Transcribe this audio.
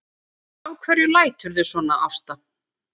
Af hverju læturðu svona Ásta?